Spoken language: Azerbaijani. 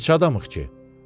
Neçə adamıq ki?